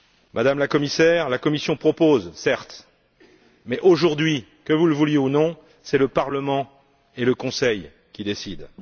Madame la Commissaire, la Commission propose, certes, mais aujourd'hui, que vous le vouliez ou non, c'est le Parlement et le Conseil qui décident.